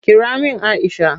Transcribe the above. Kira min Aisha!